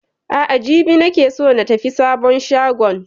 A'a jibi ne nake so na tafi sabon shagon